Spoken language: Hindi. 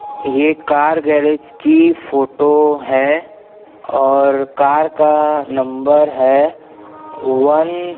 ये कार गैरज की फोटो है और कार का नंबर है वन --